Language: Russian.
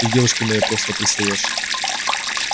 ты к девушке моей просто пристаёшь